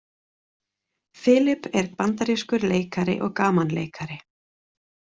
Filip er bandarískur leikari og gamanleikari.